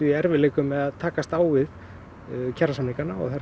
í erfiðleikum með að takast á við kjarasamningana og þeim